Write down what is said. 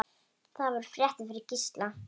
Það voru fréttir fyrir Gísla.